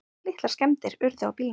Litlar skemmdir urðu á bílnum.